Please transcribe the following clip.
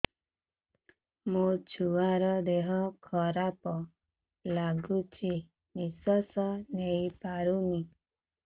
ମୋ ଛୁଆର ଦିହ ଖରାପ ଲାଗୁଚି ନିଃଶ୍ବାସ ନେଇ ପାରୁନି